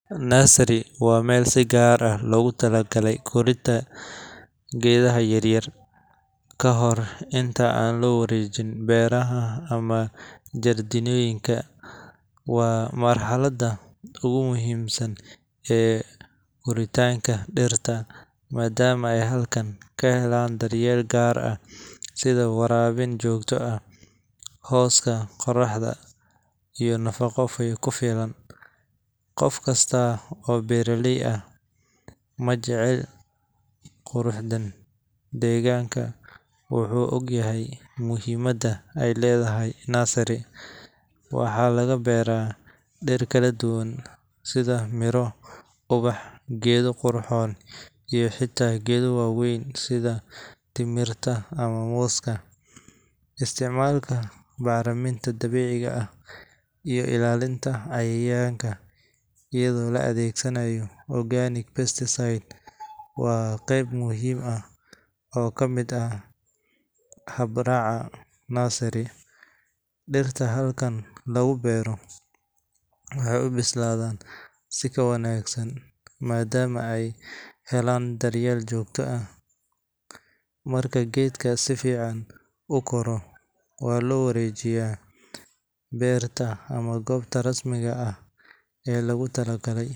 Nursery waa meel si gaar ah loogu tala galay korinta geedaha yaryar, kahor inta aan loo wareejin beeraha ama jardiinooyinka. Waa marxaladda ugu muhiimsan ee koritaanka dhirta, maadaama ay halkaan ka helaan daryeel gaar ah sida waraabin joogto ah, hooska qorraxda, iyo nafaqo ku filan. Qof kasta oo beeraley ah ama jecel qurxinta deegaanka wuxuu ogyahay muhiimadda ay leedahay nursery. Waxaa laga beeraa dhir kala duwan sida miro, ubax, geedo qurxoon iyo xitaa geedo waaweyn sida timirta ama mooska. Isticmaalka bacriminta dabiiciga ah iyo ilaalinta cayayaanka iyadoo la adeegsanayo organic pesticide waa qayb muhiim ah oo ka mid ah habraaca nursery. Dhirta halkaan lagu beero waxay u bislaadaan si ka wanaagsan maadaama ay helaan daryeel joogto ah. Marka geedka si fiican u koro, waxaa loo wareejiyaa beerta ama goobta rasmiga ah ee lagu talagalay.